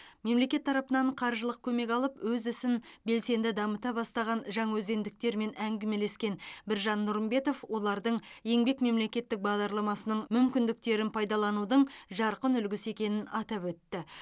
мемлекет тарапынан қаржылық көмек алып өз ісін белсенді дамыта бастаған жаңаөзендіктермен әңгімелескен біржан нұрымбетов олардың еңбек мемлекеттік бағдарламасының мүмкіндіктерін пайдаланудың жарқын үлгісі екенін атап өтті